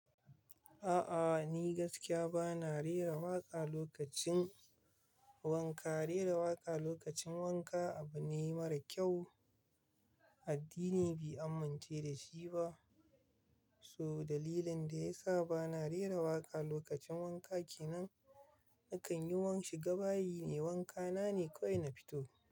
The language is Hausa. A'a ni gaskiya bana rera waƙa lokacin wanka. Rera waƙa lokacin wanka abu ne mara kyau, addini bi amince da shi ba. So dalilin da ya sa bana rera waƙa lokacin wanka kenan nakan yi wa shiga bayi ne, wanka na ne ko ina fito.